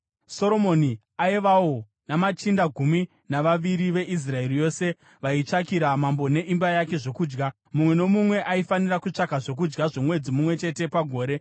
Soromoni aivawo namachinda gumi navaviri veIsraeri yose vaitsvakira mambo neimba yake zvokudya. Mumwe nomumwe aifanira kutsvaka zvokudya zvomwedzi mumwe chete pagore.